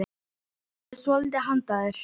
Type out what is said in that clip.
Ég er með svolítið handa þér.